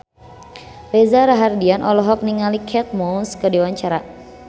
Reza Rahardian olohok ningali Kate Moss keur diwawancara